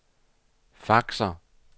faxer